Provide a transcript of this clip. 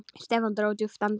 Stefán dró djúpt andann.